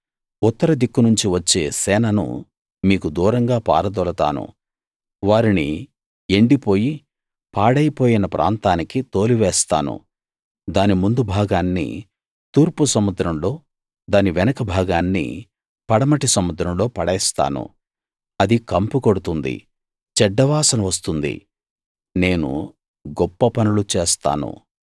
ఉత్తర దిక్కు నుంచి వచ్చే సేనను మీకు దూరంగా పారదోలతాను వారిని ఎండిపోయి పాడైపోయిన ప్రాంతానికి తోలివేస్తాను దాని ముందు భాగాన్ని తూర్పు సముద్రంలో దాని వెనుక భాగాన్ని పడమటి సముద్రంలో పడేస్తాను అది కంపు కొడుతుంది చెడ్డవాసన వస్తుంది నేను గొప్ప పనులు చేస్తాను